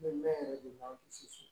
Bɛ mɛn yɛrɛ de b'a gosi